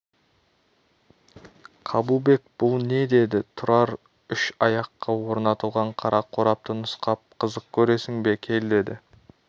қабылбек бұл не деді тұрар үш аяққа орнатылған қара қорапты нұсқап қызық көресің бе кел деді